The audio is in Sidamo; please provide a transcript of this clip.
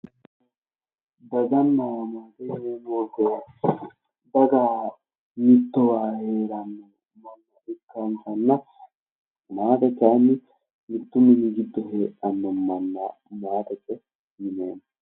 Dagana maate yaa mittowa heeranno mannati. hakunni giddo maate kayi mittowa heedhanno maate kayi maatete yineemmo